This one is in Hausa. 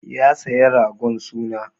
Ya saya ragon suna.